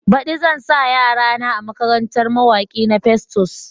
Baɗi zan sa yara na a makarantar mawaki na Festus.